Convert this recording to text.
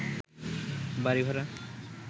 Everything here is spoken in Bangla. বাড়ি ভাড়া